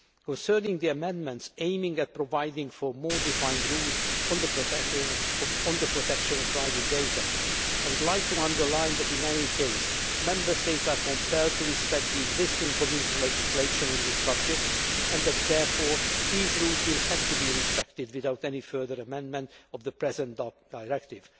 report. Concerning the amendments aimed at providing for more defined rules on the protection of private data, I would like to underline that in any case, Member States are compelled to respect the existing Community legislation on this subject and that therefore, these rules will have to be respected without any further amendment of the present draft directive.